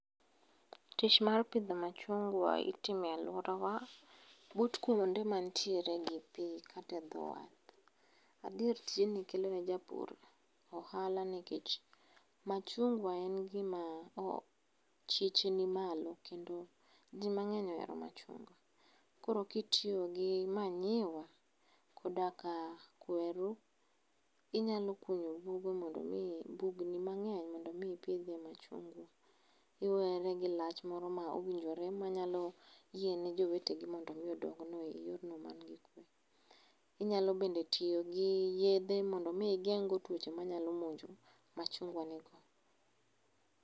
Tich mar pidho machungwa itimo e alworawa but kuonde mantiere gi piny kate dhowath. Adier tijni kelone japur ohala nikech machungwa en gima chiche ni malo kendo ji mang'eny ohero machungwa. Koro kitiyo gi manyiwa, koda ka kweru, inyalo kunyo bugni mang'eny mondo mi ipidhie machungwa. Iwere gi lach moro ma owinjore manyalo yiene jowetegi mondo mi odongno e yorno man gi kwe. Inyalo bende tiyo gi yedhe mondomi igeng'go tuoche manyalo monjo machungwa ni go.